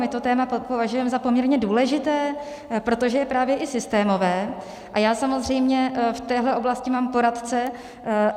My to téma považujeme za poměrně důležité, protože je právě i systémové a já samozřejmě v téhle oblasti mám poradce.